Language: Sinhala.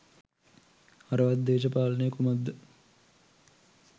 හරවත් දේශපාලනය කුමක් ද?